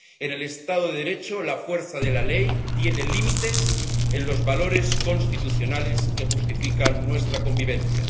En el Estado de Derecho la fuerza de la ley tiene límites en los valores constitucionales que justifican nuestra convivencia.